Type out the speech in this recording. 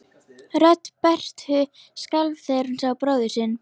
Rödd Berthu skalf þegar hún sá bróður sinn.